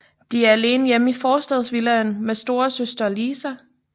De er alene hjemme i forstadsvillaen med storesøster Lisa